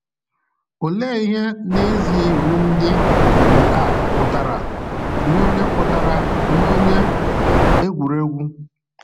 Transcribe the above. Olee ihe n’ezie iwu ndị um a pụtara nye onye pụtara nye onye egwuregwu?